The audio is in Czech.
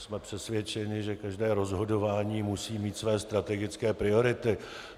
Jsme přesvědčeni, že každé rozhodování musí mít své strategické priority.